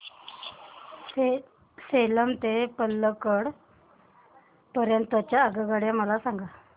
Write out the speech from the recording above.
सेलम ते पल्लकड पर्यंत च्या आगगाड्या मला सांगा